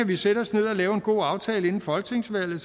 vi sætte os ned og lave en god aftale inden folketingsvalget